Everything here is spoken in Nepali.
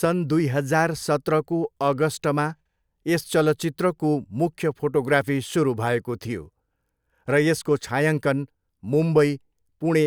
सन् दुई हजार सत्रको अगस्टमा यस चलचित्रको मुख्य फोटोग्राफी सुरु भएको थियो र यसको छायाङ्कन मुम्बई, पुणे,